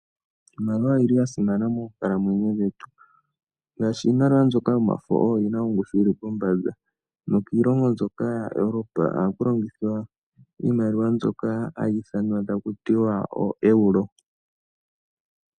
Iimaliwa oyi li ya simana moonkalamwenyo dhetu. Ngaashi iimaliwa mbyoka yomafo oyo yi na ongushu yi li pombanda. Nokiilongo mbyoka yaEuropa ohaku longithwa iimaliwa mbyoka hayi ithanwa taku tiwa ooeuro.